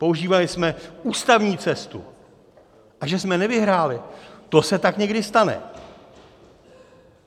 Používali jsme ústavní cestu, a že jsme nevyhráli, to se tak někdy stane.